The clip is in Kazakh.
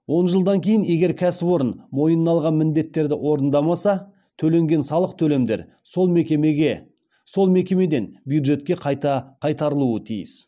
он жылдан кейін егер кәсіпорын мойнына алған міндеттерді орындамаса төленген салық төлемдер сол мекемеден бюджетке қайта қайтарылуы тиіс